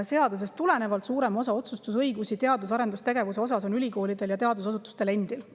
Seadusest tulenevalt on teadus- ja arendustegevuse puhul suurem osa otsustusõigusest ülikoolidel ja teadusasutustel endil.